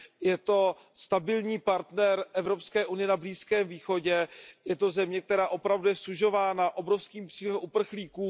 Je to stabilní partner Evropské unie na Blízkém východě, je to země, která je opravdu sužována obrovským přílivem uprchlíků.